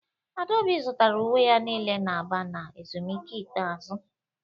Adaobi zụtara uwe ya niile na Aba na ezumike ikpeazụ